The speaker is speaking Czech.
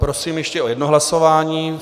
Prosím ještě o jedno hlasování.